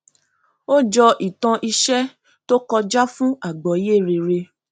ó jọ ìtàn iṣẹ tó kọjá fún agbọye rere